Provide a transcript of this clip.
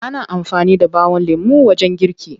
Ana amfani da ɓawon lemo wajen girki.